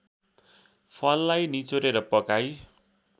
फललाई निचोरेर पकाई